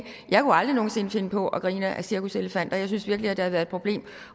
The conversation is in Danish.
jeg kunne aldrig nogen sinde finde på at grine af cirkuselefanter jeg synes virkelig at der har været et problem